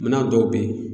Minan dɔw be yen